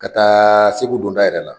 Ka taa Segu donda yɛrɛ la,